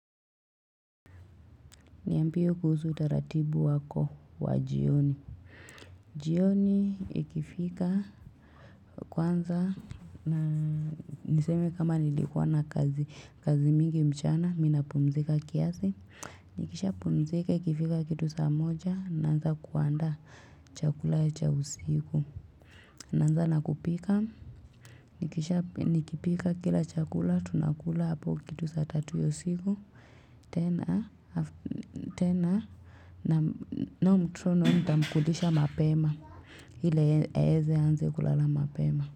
Niambie kuhusu utaratibu wako wa jioni. Jioni ikifika kwanza niseme kama nilikuwa na kazi mingi mchana mimi napumzika kiasi. Nikishapumzike ikifika kitu saa moja naanza kuandaa chakula ya cha usiku. Naanza na kupika. Nikisha nikipika kila chakula tunakula hapo kitu saa tatu ya usiku. Tena nao mtoto nayo nitamkulisha mapema. Ili aeze anze kulala mapema.